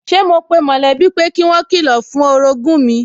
Sẹ́ mo pe mọ̀lẹ́bí pé kí wọ́n kilọ̀ fún orogún mi